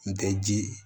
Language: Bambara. N tɛ ji ye